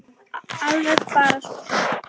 Alveg bara súr